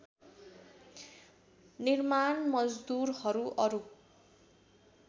निर्माण मजदूरहरू अरू